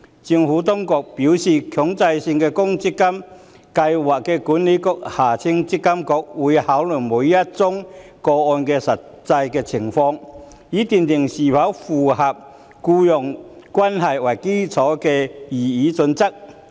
政府當局表示，強制性公積金計劃管理局會考慮每宗個案的實際情況，以斷定是否符合以僱傭關係為基礎的擬議準則。